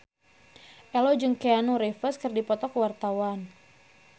Ello jeung Keanu Reeves keur dipoto ku wartawan